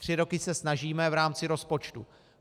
Tři roky se snažíme v rámci rozpočtu.